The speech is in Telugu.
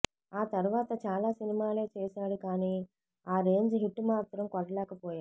ఆ తర్వాత చాల సినిమాలే చేసాడు కానీ ఆ రేంజ్ హిట్ మాత్రం కొట్టలేకపోయాడు